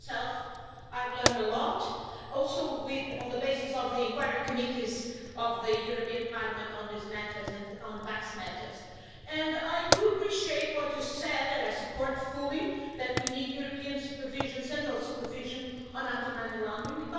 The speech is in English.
Like yourself, I've learned a lot, also on the basis of the inquiry committees of the European Parliament on these matters and on tax matters, and I do appreciate what you said and I support fully that we need European central supervision on anti money laundering.